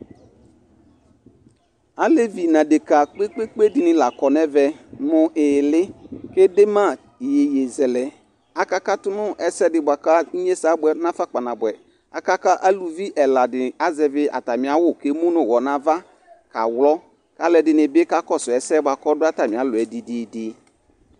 Alevi nʋ adeka kpekpekpe dɩnɩ la kɔ n'ɛvɛ nʋ ɩɩlɩ k'edema iyeyezɛlɛ Akakatʋ n'ɛsɛdɩ bʋa kʋ inyesɛ abʋɛ n'afa kpanabʋɛ Aka kʋ aluvi ɛla dɩnɩ azɛvɩ atamɩ awʋ k'emu nʋ ʋwɔ n'ava, kaɣlɔ kʋ alʋɛdɩnɩ bɩ kakɔsʋ ɛsɛ bʋa kɔ dʋ atamɩ alɔ yɛ didiidi